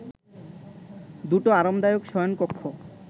দুটো আরামদায়ক শয়ন-কক্ষ